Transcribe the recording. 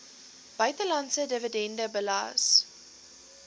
buitelandse dividende belas